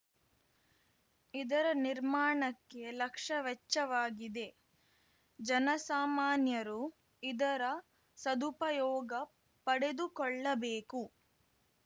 ಇದರ ನಿರ್ಮಾಣಕ್ಕೆ ಲಕ್ಷ ವೆಚ್ಚವಾಗಿದೆ ಜನಸಾಮಾನ್ಯರು ಇದರ ಸದುಪಯೋಗ ಪಡೆದುಕೊಳ್ಳಬೇಕು